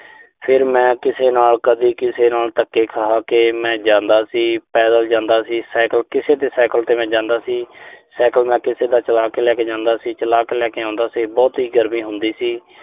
ਫਿਰ ਮੈਂ ਕਿਸੇ ਨਾਲ ਕਦੀ ਕਿਸੇ ਨਾਲ ਧੱਕੇ ਖਾ ਕੇ ਮੈਂ ਜਾਂਦਾ ਸੀ। ਪੈਦਲ ਜਾਂਦਾ ਸੀ, ਸਾਈਕਲ ਕਿਸੇ ਦੇ ਸਾਈਕਲ ਤੇ ਮੈਂ ਜਾਂਦਾ ਸੀ। ਸਾਈਕਲ ਮੈਂ ਕਿਸੇ ਦਾ ਚਲਾ ਕੇ ਲੈ ਕੇ ਜਾਂਦਾ ਸੀ, ਚਲਾ ਕੇ ਲੈ ਕੇ ਆਉਂਦਾ ਸੀ। ਬਹੁਤ ਹੀ ਗਰਮੀ ਹੁੰਦੀ ਸੀ।